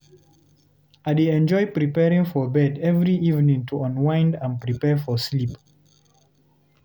I dey enjoy preparing for bed every evening to unwind and prepare for sleep.